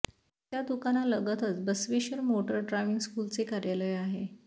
त्या दुकानालगतच Basaveshwar motor driving स्कूलचे कार्यालय आहे